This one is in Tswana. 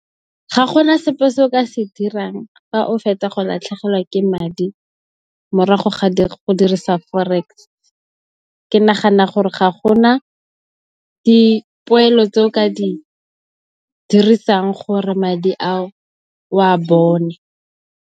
Ga gona sepe se o ka se dirang fa o fetsa go latlhegelwa ke madi morago ga go dirisa Forex. Ke nagana gore ga gona dipoelo tse o ka di dirisang gore madi ao o a bone.